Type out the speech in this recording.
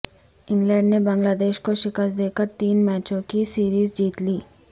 England نے Bangladesh کو شکست دے کر تین میچوں کی سیریز جیت لی